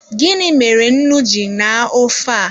Gịnị mere nnu ji naa ofe a?